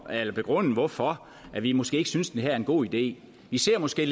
at begrunde hvorfor vi vi måske ikke synes det her er en god idé vi ser måske